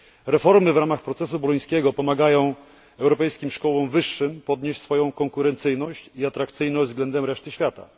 Reformy w ramach procesu bolońskiego pomagają europejskim szkołom wyższym podnieść swoją konkurencyjność i atrakcyjność względem reszty świata.